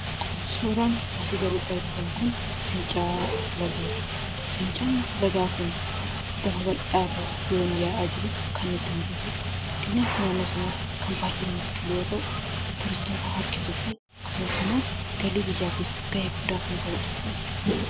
Suuraan asii gaditti argitan kun fincaa'aa lagaati. Fincaa'aan lagaa kun lafa bal'aa irraa yoon inni yaa'aa jiru kan nutti mul'atu dha. Qilleensi naannoo sanaas kan baay'ee namatti tolu yoo ta'u, turistoota harkisuuf akkasumas immoo galii biyyaatiif gahee guddaa kan taphatuu dha.